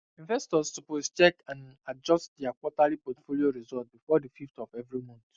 investors suppose check and adjust their quarterly portfolio result before the 15th of every month